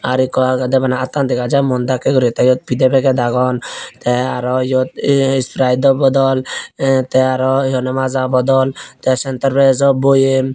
r ikko aagede bana aattan dega jai muan dakke guri te eyod pide packet aagon te aro eyod ahn spritedo bodol ahn te aro maja bodol te centrefreshjo boem.